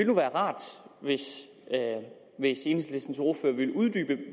nu være rart hvis enhedslistens ordfører ville uddybe